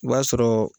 O b'a sɔrɔ